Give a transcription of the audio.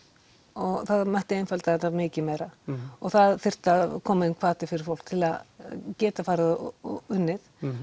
og það mætti einfalda þetta mikið meira og það þyrfti að koma inn hvati fyrir fólk til að geta farið og unnið